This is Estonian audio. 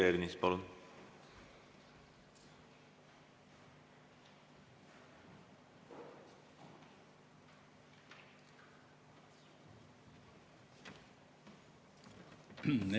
Peeter Ernits, palun!